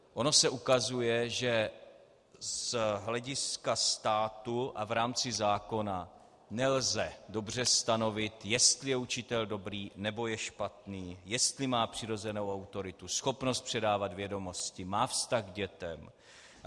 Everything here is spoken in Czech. Ono se ukazuje, že z hlediska státu a v rámci zákona nelze dobře stanovit, jestli je učitel dobrý, nebo je špatný, jestli má přirozenou autoritu, schopnost předávat vědomosti, má vztah k dětem.